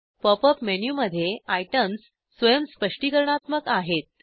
pop up मेनूमध्ये items स्वयं - स्पष्टीकरणात्मक आहेत